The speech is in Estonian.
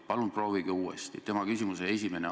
Palun proovige uuesti!